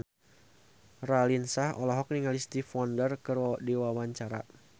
Raline Shah olohok ningali Stevie Wonder keur diwawancara